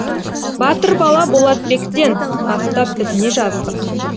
батыр бала болатбектен бастап біз не жаздық